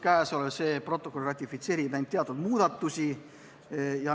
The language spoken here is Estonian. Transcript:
Kõnealune protokoll ratifitseerib ainult teatud muudatusi.